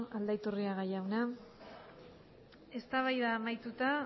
aldaiturriaga jauna eztabaida amaituta